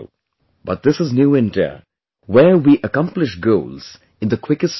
But this is New India, where we accomplish goals in the quickest time possible